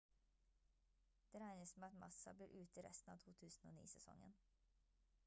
det regnes med at massa blir ute resten av 2009-sesongen